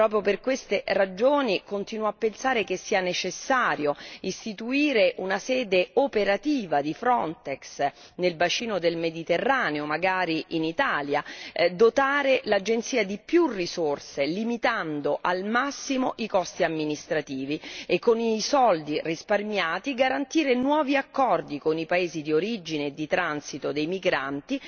Proprio per queste ragioni, continuo a pensare che sia necessario istituire una sede operativa di Frontex nel bacino del Mediterraneo, magari in Italia, dotando l'Agenzia di maggiori risorse e limitando al massimo i costi amministrativi e, con il denaro così risparmiato, garantire nuovi accordi con i paesi di origine e di transito dei migranti,